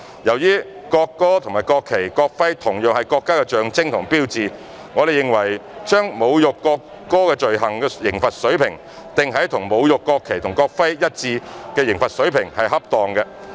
由於國歌和國旗、國徽同樣是國家的象徵和標誌，我們認為把侮辱國歌罪行的刑罰水平訂於與侮辱國旗或國徽罪行一致的刑罰水平是恰當的。